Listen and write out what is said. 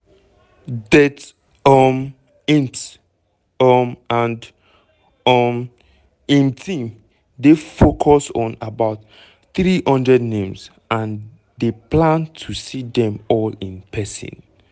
det um insp humm and um im team dey focus on about 300 names and dey plan to see dem all in pesin.